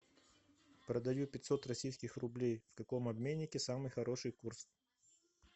продаю пятьсот российских рублей в каком обменнике самый хороший курс